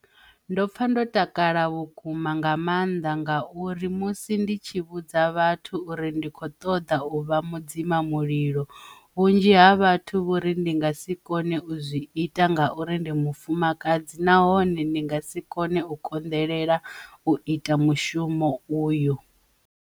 Ndo pfa ndo takala vhuku-ma, nga maanḓa ngauri musi ndi tshi vhudza vhathu uri ndi khou ṱoḓa u vha mudzimamulilo, vhunzhi havho vho ri ndi nga si kone u zwi ita ngauri ndi mufumakadzi nahone ndi nga si kone u konḓelela u ita mushumo uyu.